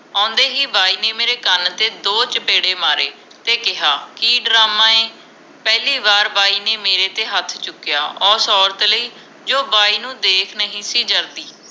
ਆਉਂਦੇ ਹੀ ਬਾਈ ਨੇ ਮੇਰੇ ਕੰਨ ਤੇ ਦੋ ਚਪੇੜੇ ਮਾਰੇ ਤੇ ਕਿਹਾ ਕਿ ਡਰਾਮਾ ਏ ਪਹਿਲੀ ਵਾਰ ਬਾਈ ਨੇ ਮੇਰੇ ਤੇ ਹੱਥ ਚੁਕਿਆ ਉਸ ਔਰਤ ਲਈ ਜੋ ਬਾਈ ਨੂੰ ਦੇਖ ਨਹੀਂ ਸੀ ਜਰਦੀ